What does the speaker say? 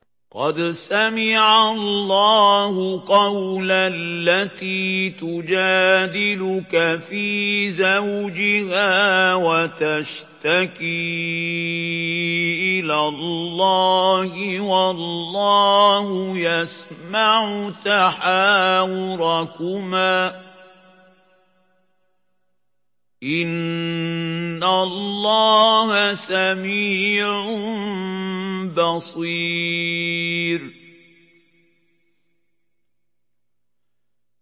قَدْ سَمِعَ اللَّهُ قَوْلَ الَّتِي تُجَادِلُكَ فِي زَوْجِهَا وَتَشْتَكِي إِلَى اللَّهِ وَاللَّهُ يَسْمَعُ تَحَاوُرَكُمَا ۚ إِنَّ اللَّهَ سَمِيعٌ بَصِيرٌ